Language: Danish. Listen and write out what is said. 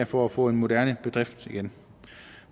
for at få en moderne bedrift igen